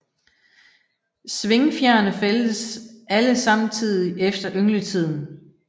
Svingfjerene fældes alle samtidig efter yngletiden